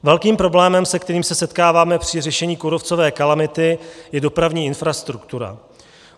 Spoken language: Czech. Velkým problémem, se kterým se setkáváme při řešení kůrovcové kalamity, je dopravní infrastruktura.